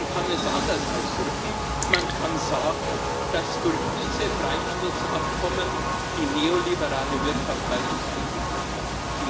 Man kann es anders ausdrücken Man kann sagen, dass durch diese Freihandelsabkommen die neoliberale Wirtschaft bei uns eingeführt wird.